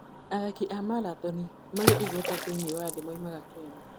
Athaki aingĩ a maratathi marĩ igweta thĩinĩ wa thĩ moimaga Kenya.